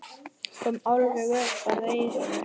Kom alveg upp að eyranu.